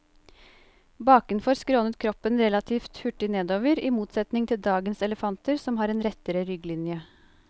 Bakenfor skrånet kroppen relativt hurtig nedover, i motsetning til dagens elefanter som har en rettere rygglinje.